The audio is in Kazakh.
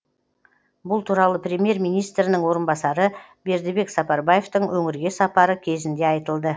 бұл туралы премьер министрінің орынбасары бердібек сапарбаевтың өңірге сапары кезінде айтылды